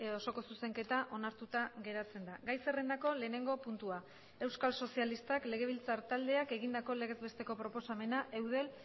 osoko zuzenketa onartuta geratzen da gai zerrendako lehenengo puntua euskal sozialistak legebiltzar taldeak egindako legez besteko proposamena eudel